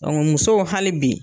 musow hali bi